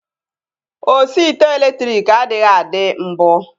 Osi ite elektriki adịghị adị mbụ